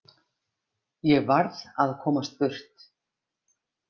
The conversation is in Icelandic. Ég varð að komast burt.